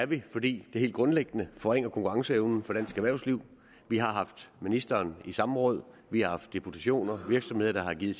vi fordi det helt grundlæggende forringer konkurrenceevnen for dansk erhvervsliv vi har haft ministeren i samråd vi har haft deputationer af virksomheder der har givet